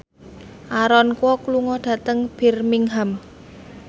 Aaron Kwok lunga dhateng Birmingham